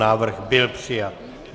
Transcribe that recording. Návrh byl přijat.